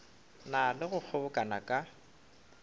na le go kgobokana ka